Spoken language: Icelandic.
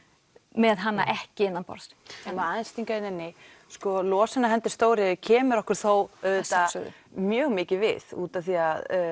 með hana ekki innanborðs Má ég aðeins stinga hérna inni sko losun af hendi stóriðju kemur okkur þó auðvitað mjög mikið við út af því